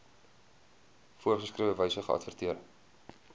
voorgeskrewe wyse geadverteer